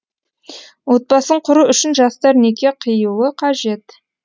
отбасын құру үшін жастар неке қиюы қажет